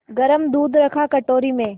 गरम दूध रखा कटोरी में